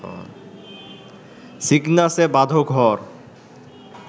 সিগনাসে বাঁধো ঘর